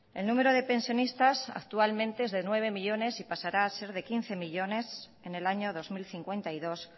el número de pensionistas es actualmente de nueve millónes y pasará a ser de quince millónes en el año dos mil cincuenta y dos